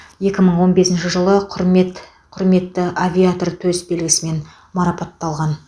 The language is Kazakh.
екі мың он бесінші жылы құрмет құрметті авиатор төс белгісімен марапатталған